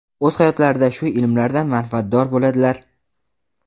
o‘z hayotlarida shu ilmlardan manfaatdor bo‘ladilar.